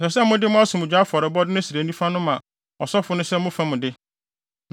Ɛsɛ sɛ mode mo asomdwoe afɔrebɔde no srɛ nifa no ma ɔsɔfo no sɛ mo fam de.